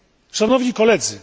Szanowni Koledzy!